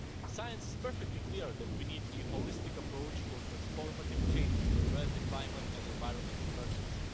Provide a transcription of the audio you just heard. Science is perfectly clear that we need a holistic approach for transformative change to address the climate and environment emergency.